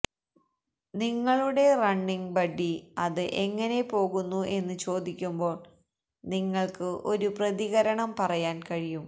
നിങ്ങളുടെ running buddy അത് എങ്ങനെ പോകുന്നു എന്ന് ചോദിക്കുമ്പോൾ നിങ്ങൾക്ക് ഒരു പ്രതികരണം പറയാൻ കഴിയും